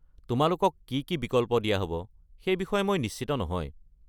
তোমালোকক কি কি বিকল্প দিয়া হ'ব, সেই বিষয়ে মই নিশ্চিত নহয়।